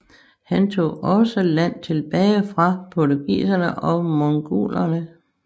Han tog også land tilbage fra portugiserne og mogulerne